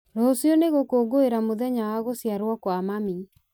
rũciũ nĩ gũkũngũĩra mũthenya wa gũciarwo kwa mami